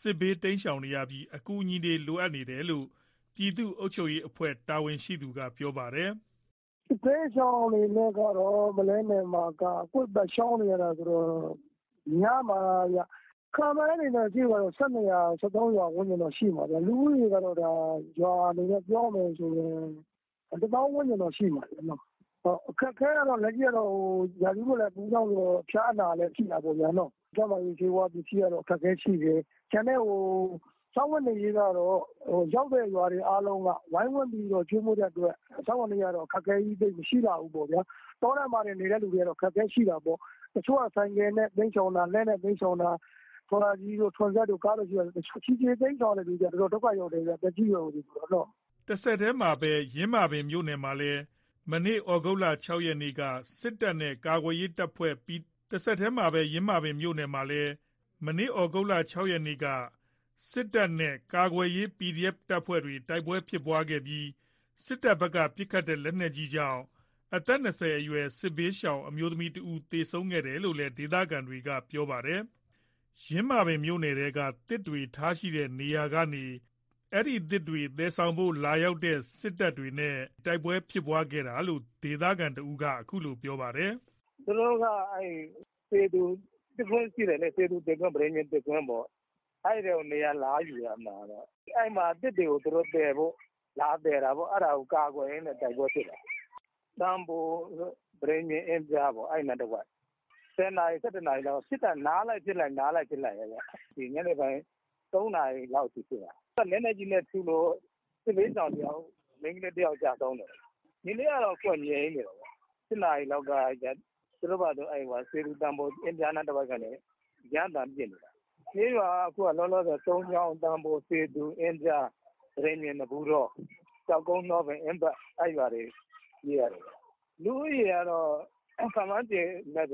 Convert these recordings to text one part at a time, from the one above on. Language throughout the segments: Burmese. စစ်ဘေး တိမ်းရှောင်နေရပြီး အကူအညီတွေ လိုအပ်နေတယ်လို့ ပြည်သူ့အုပ်ချုပ်ရေး အဖွဲ့တာဝန်ရှိသူက ပြောပါတယ်။ “စစ်ဘေးရှောင်အနေနဲ့ကတော့ ပုလဲနယ်မှာက ကွေ့ပတ် ရှောင်နေတာဆိုတော့ များမှာ။ ခန့်မှန်းခြေဆိုရင် ၁၂ ရွာ ၁၃ ရွာ ဝန်းကျင်လောက်ရှိမှာ လူဦးရေက ရွာအနေနဲ့ ပြောရမယ်ဆိုရင် ၁ သောင်း ဝန်းကျင်တော့ ရှိမယ်။ အခက်အခဲက ရာသီဥတု အပူကြောင့်ဆိုတော့ ဖျားနာတာလည်း ရှိတာပေါ့ဗျာ။ ဖျားနာတာနဲ့ ပတ်သက်လို့ ကျန်းမာရေး ဆေးးဝါး ပစ္စည်းက အခက်အခဲရှိတယ်။ ကျန်တဲ့ စားဝတ်နေရေးကတော့ ရောက်တဲ့ရွာတွေ အကုန်လုံးက ဝိုင်းဝန်းကျွေးမွေးလို့ စားဝတ်နေရေးက အခက်ခဲကြီး မရှိလှဘူးပေါ့။ တောထဲမှာနေတဲ့သူတွေ အခက်အခဲရှိတာပေါ့။ တချို့က ဆိုင်ကယ်နဲ့ ထော်လာဂျီနဲ့ တိမ်းရှောင်ကြတာ ခြေလျင်တိမ်းရှောင်တဲ့သူတွေ တော်တော်ဒုက္ခရောက်တယ်။ သက်ကြီးရွယ်အိုတွေပေါ့။” တဆက်တည်းမှာပဲ ယင်းမာပင် မြို့နယ်ထဲမှာလည်း မနေ့ သြဂုတ်လ ၆ ရက်က စစ်တပ်နဲ့ ကာကွယ်ရေး တပ်ဖွဲ့တွေ တိုက်ပွဲဖြစ်ပွားခဲ့ပြီး စစ်တပ်ဘက်က ပစ်ခတ်တဲ့ လက်နက်ကြီးကြောင့် အသက် ၂၀ ကျော်အရွယ် စစ်ဘေးရှောင် အမျိုးသမီး တဦး သေဆုံးခဲ့တယ်လို့လည်း ဒေသခံတွေက ပြောပါတယ်။ ယင်းမာပင်မြို့နယ်ထဲက သစ်တွေထားရှိတဲ့ နေရာကနေ သစ်တွေ သယ်ဆောင်ဖို့ လာရောက်ရာကနေ ကာကွယ်ရေး တပ်ဖွဲ့တွေနဲ့ တိုက်ပွဲဖြစ်ပွားခဲ့တာလို့ ဒေသခံတဦးက အခုလို ပြောပါတယ်။ “သူတို့က စေသူသစ်ကွင်း သစ်ကွင်းရှိတယ်လေ။ စေသူ သစ်ကွင်း ပတိန်ပြင်သစ်ကွင်း ရှိတယ်လေ။ အဲ့ထဲကို နေရာလာယူတာ အဲ့မှာ သစ်တွေကို သယ်ဖို့ လာသယ်တာပေါ့ အဲ့ဒါကို ကာကွယ်ရင်း တိုက်ပွဲဖြစ်တာ။ သံဘို ပတိန်ပြင် အင်းဖျားပေါ့ အဲ့နားတဝိုက်။ ၁၀ နာရီ ၁၁ နာရီလောက်ကနေ နားလိုက်ဖြစ်လိုက်ပဲ။ ညနေပိုင်း ၃ နာရီလောက်အထိဖြစ်တာ။ လက်နက်ကြီးနဲ့ထုလို့ စစ်ဘေးရှောင် မိန်းကလေး တယောက် ကျဆုံးတယ်။ ဒီနေ့ကတော့ အခုက ငြိမ်နေတယ်။ ၈ နာရီလောက်က သူတို့ဘာသာသူတို့ စေသူ သံဘို အင်းဖျားနားတဝိုက်ကနေ ရမ်းသမ်းပစ်နေတာ။ ကျေးရွာက စုန်းချောင်း၊ သံဘို၊ စေသူ၊ အင်းဖျား၊ ပတိန်ပြင်၊ နဘူးတော၊ ကျောက်ကုန်း၊ နှောပင်အင်းပက်။ အဲ့ရွာတွေ ပြေးနေရတယ်။ လူဦးရေ ကတော့ ခန့်မှန်းခြေ ၃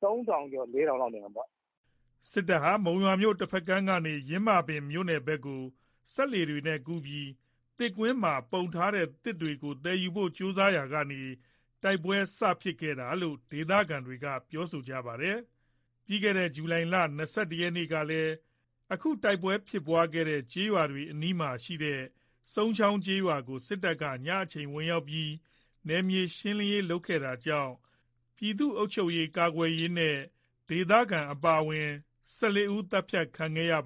ထောင်ကျော် ၄ ထောင်လောက်နေမှာပေါ့။” စစ်တပ်ဟာ မုံရွာတဘက်ကမ်းကနေ ယင်းမာပင်ဘက်ကို စက်လှေတွေနဲ့ ကူးပြီး သစ်ကွင်းမှာ ပုံထားတဲ့ သစ်တွေကို သယ်ယူဖို့ ကြိုးစားရာကနေ တိုက်ပွဲစဖြစ်တာလို့ ဒေသခံတွေက ပြောဆိုကြတာပါ။ ဇူလိုင် ၂၁ ရက်နေ့ ကလည်း အခုတိုက်ပွဲ ဖြစ်နေတဲ့ ကျေးရွာတွေ အနီးမှာရှိတဲ့ စုန်းချောင်း ကျေးရွာကို စစ်တပ်က ညအချိန် ဝင်ရောက်ပြီး နယ်မြေ ရှင်းလင်းတာတွေ လုပ်ခဲ့တာကြောင့် ပြည်သူ့အုပ်ချုပ်ရေး ကာကွယ်ရေးနဲ့ ဒေသခံ အပါအဝင် ၁၄ ဦး သတ်ဖြတ်ခံခဲ့ရပါ